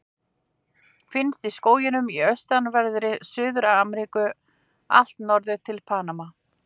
Finnst í skógum í austanverðri Suður-Ameríku allt norður til Panama.